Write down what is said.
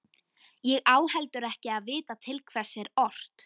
Ég á heldur ekki að vita til hvers er ort.